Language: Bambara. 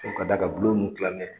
Fo ka d'a ka bulon nun kilanŋɛ